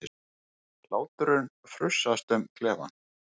Hláturinn frussast um klefann.